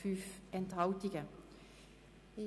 Rückweisungsantrag